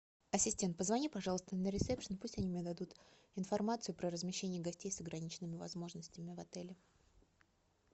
ассистент позвони пожалуйста на ресепшен пусть они мне дадут информацию про размещение гостей с ограниченными возможностями в отеле